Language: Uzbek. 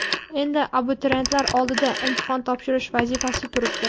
Endi abituriyentlar oldida imtihon topshirish vazifasi turibdi.